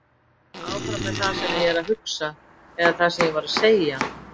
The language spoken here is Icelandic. Áfram með það sem ég er að hugsa eða það sem ég var að segja?